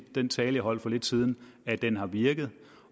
den tale jeg holdt for lidt siden at den har virket